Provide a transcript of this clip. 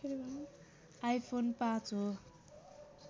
iPhone ५ हो